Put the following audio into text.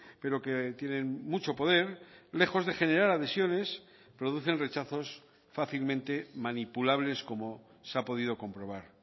pero que tienen mucho poder lejos de generar adhesiones producen rechazos fácilmente manipulables como se ha podido comprobar